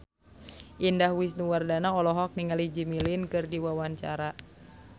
Indah Wisnuwardana olohok ningali Jimmy Lin keur diwawancara